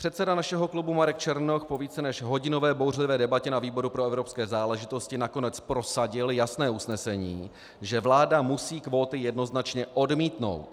Předseda našeho klubu Marek Černoch po více než hodinové bouřlivé debatě na výboru pro evropské záležitosti nakonec prosadil jasné usnesení, že vláda musí kvóty jednoznačně odmítnout.